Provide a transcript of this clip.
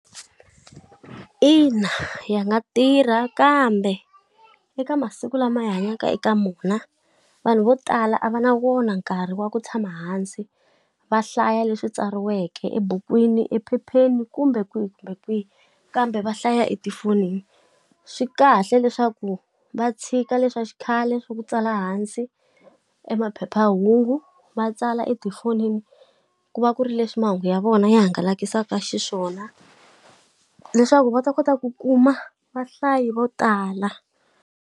Ina ya nga tirha kambe eka masiku lama hi hanyaka eka wona vanhu vo tala a va na wona nkarhi wa ku tshama hansi va hlaya leswi tsariweke ebukwini, ephepheni, kumbe kwihi kumbe kwihi, kambe va hlaya etifonini. Swi a kahle leswaku va tshika leswa xikhale swa ku tsala hansi e maphephahungu, va tsala etifonini, ku va ku ri leswi mahungu ya vona ya hangalasaka xiswona. Leswaku va ta kota ku kuma vahlayi vo tala.